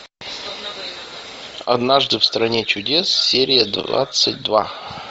однажды в стране чудес серия двадцать два